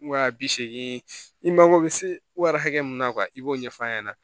Wa bi segin i mako bɛ se wari hakɛ min na kuwa i b'o ɲɛf'a ɲɛna